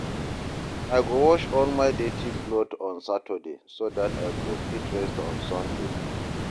I go wash all my dirty clothes on saturday so dat I go fit rest on sunday